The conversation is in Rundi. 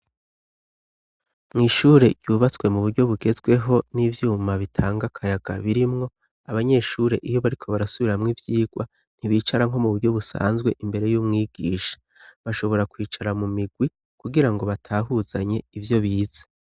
mw' ishure yubatswe mu buryo bugezweho n'ivyuma bitanga akayaga birimwo abanyeshure iyo bariko barasubiramwo ivyigwa ntibicara nko mu buryo busanzwe imbere y'umwigisha bashobora kwicara mu migwi kugira ngo batahuzanye ivyo bize